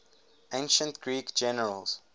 ancient greek generals